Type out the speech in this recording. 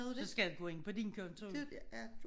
Så skal han gå ind på din konto